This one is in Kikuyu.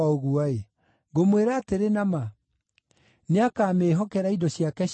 Ngũmwĩra atĩrĩ na ma, nĩakamĩĩhokera indo ciake ciothe.